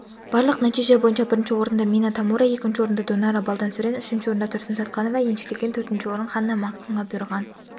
барлық нәтиже бойынша бірінші орынды мина тамура екінші орынды донара балдансүрэн үшінші орынды тұрсын сатқанова еншілеген төртінші орын ханна максонға бұйырған